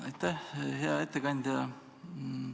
Aitäh, hea ettekandja!